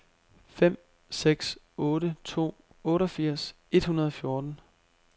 fem seks otte to otteogfirs et hundrede og fjorten